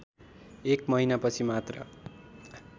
एक महिनापछि मात्र